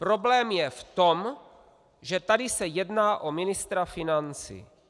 Problém je v tom, že tady se jedná o ministra financí.